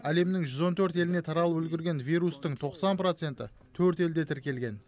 әлемнің жүз он төрт еліне таралып үлгерген вирустың тоқсан проценті төрт елде тіркелген